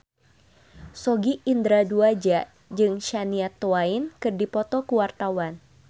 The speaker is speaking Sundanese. Sogi Indra Duaja jeung Shania Twain keur dipoto ku wartawan